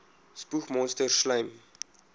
spoeg monsters slym